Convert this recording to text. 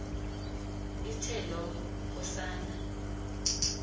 ithe loo nkosana